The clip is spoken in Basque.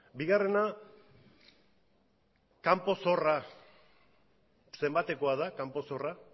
bigarrena kanpo zorra zenbatekoa da kanpo zorra